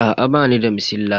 Aa bani da masilla.